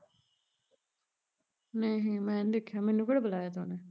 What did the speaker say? ਨਹੀਂ ਮੈਨੀ ਦੇਖਿਆ, ਮੈਨੂੰ ਕਿਹੜਾ ਬੁਲਾਇਆ ਤਾ ਉਹਨੇ